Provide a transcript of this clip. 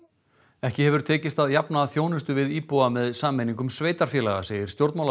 ekki hefur tekist að jafna þjónustu við íbúa með sameiningum sveitarfélaga segir